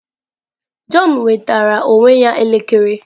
Jọn nwetara onwe ya elekere.